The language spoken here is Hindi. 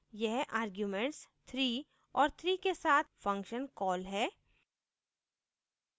यह arguments 3 और 3 के साथ function कॉल है